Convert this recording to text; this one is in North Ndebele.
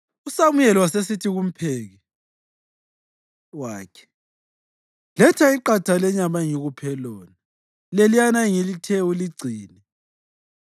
USamuyeli wasesithi kumpheki wakhe, “Letha iqatha lenyama engikuphe lona, leliyana engithe uligcine.”